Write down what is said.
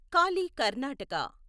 Kali Karnataka